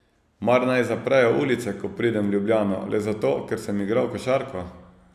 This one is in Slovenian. Mar naj zaprejo ulice, ko pridem v Ljubljano, le zato, ker sem igral košarko?